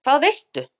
Hvað veistu?